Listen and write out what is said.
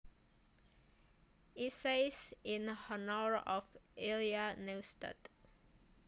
Essays in Honour of Ilya Neustadt